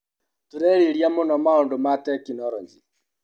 Tũrarĩrĩeia mũno maũndũ ma tekinologĩ.